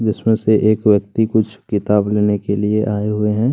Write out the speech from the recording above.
जिसमें से एक व्यक्ति कुछ किताब लेने के लिए आए हुए हैं।